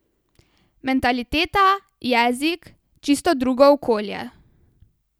Mentaliteta, jezik, čisto drugo okolje.